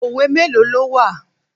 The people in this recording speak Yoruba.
Òwe mélòó ló wà?